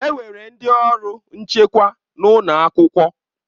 Enwere ndị ọrụ nchekwa n'ụlọ akwụkwọ